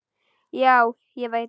Já, ég veit það.